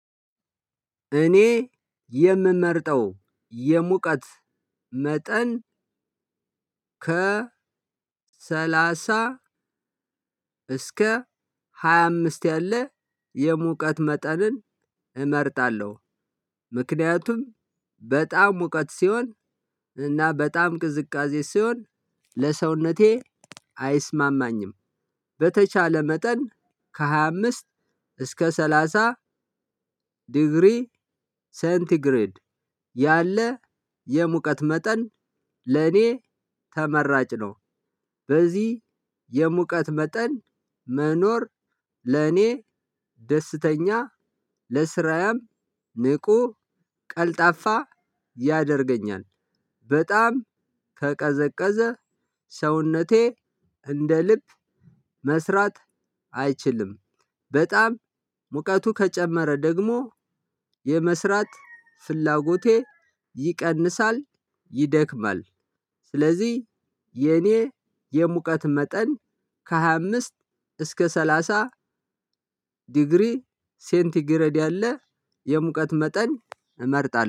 እኔ የምመርጠው የሙቀት መጠን ከ ሰላሳ እስከ ሃያ አምስት ያለ የሙቀት መጠንን እመርጣለሁ። ምክንያቱም በጣም ሙቀት ሲሆን እና በጣም ቅዝቃዜ ሲሆን ለሰውነቴ አይስማማኝም። በተቻለ መጠን ከሃያ አምስት እስከ ሰላሳ ዲግሪ ሴንቲግሬድ ያለ የሙቀት መጠን ለኔ ተመራጭ ነው። በዚህ የሙቀት መጠን መኖር ለኔ ደስተኛ ለስራያም ንቁ ቀልጣፋ ያደርገኛል። በጣም ከቀዘቀዘ ሰውነቴ እንደ ልብ መስራት አይችልም። በጣም ሙቀቱ ከጨመረ ደግሞ የመስራት ፍላጎቴ ይቀንሳል፣ ይደክማል። ስለዚህ የኔ የሙቀት መጠን ከሃያ አምስት እስከ ሰላሳ ዲግሪ ሴንቲ ግረድ ያለ የሙቀት መጠን እመርጣለሁ።